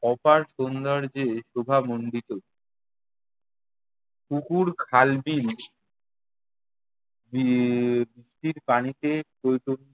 অপার সৌন্দর্যে শোভামণ্ডিত। পুকুর খাল-বিল বি~ এর বৃষ্টির পানিতে টইটম্বুর।